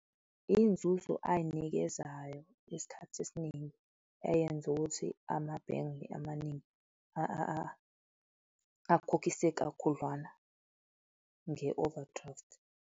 Izinzuzo ayinikezayo isikhathi esiningi eyenza ukuthi amabhenge amaningi akukhokhise kakhudlwana nge-overdraft.